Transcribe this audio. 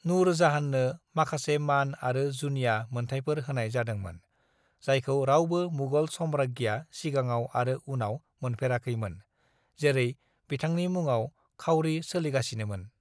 "नुर जाहाननो माखासे मान आरो जुनिया मोनथाइफोर होनाय जादोंमोन, जायखौ रावबो मुगल साम्राज्ञीआ सिगाङाव आरो उनाव मोनफेराखैमोन, जेरै बिथांनि मुङाव खाउरि सोलिगासिनोमोन।"